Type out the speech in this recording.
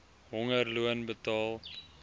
honger loon betaal